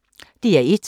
DR1